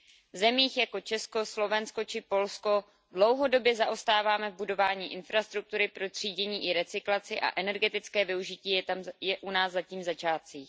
V zemích jako Česko, Slovensko či Polsko dlouhodobě zaostáváme v budování infrastruktury pro třídění i recyklaci a energetické využití je u nás zatím v začátcích.